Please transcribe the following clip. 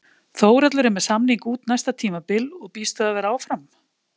Þórhallur er með samning út næsta tímabil og býst við að vera áfram?